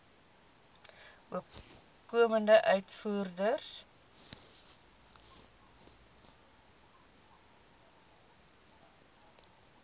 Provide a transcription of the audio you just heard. opkomende uitvoerders